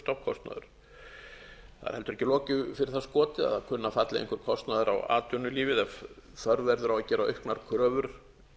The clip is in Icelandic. heldur ekki loku fyrir það skotið að það kunni að falla einhver kostnaður á atvinnulífið ef þörf verður á að gera auknar kröfur